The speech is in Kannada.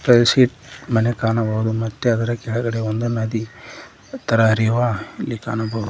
ಬರೀ ಶೀಟ್ ಮನೆ ಕಾಣಬಹುದು ಮತ್ತೆ ಅದರ ಕೆಳಗಡೆ ಒಂದು ನದಿ ತರ ಹರಿಯುವ ಅಲ್ಲಿ ಕಾಣಬಹುದು.